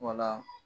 Wala